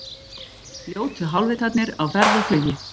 Ljótu hálfvitarnir á ferð og flugi